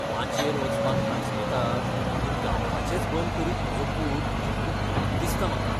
माचयेर वचपाक कांचवेता म्हूण गावपाचेंच बंद करीत म्हजो पूत म्हूण भिरांत दिसता म्हाका.